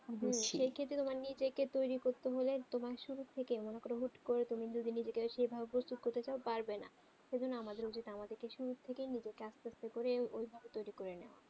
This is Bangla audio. যে সেই ক্ষেত্রে তোমাকে নিজে কে তয়রি করতে হলে তোমার শুরু থেকে মনে করে হট করে তুমি দুই দিনে সে সেইটা পারবে না সেই জন্য আমাদের উচিত আমাদের কিছু নিজে কে আসতে আস্তে করে ঐই ভাবে তয়রি করে নিয়া